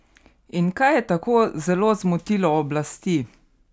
In kaj je tako zelo zmotilo oblasti?